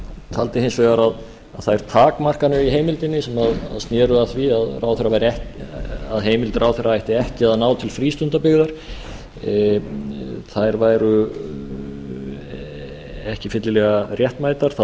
taldi hins vegar að þær takmarkanir í heimildinni sem sneru að því að heimild ráðherra ætti ekki að ná til frístundabyggða þær væru ekki fyllilega réttmætar